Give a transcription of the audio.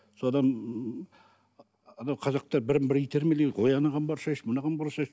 содан анау қазақтар бірін бірі итермелейді ғой ой анаған барсайшы мынаған барсайшы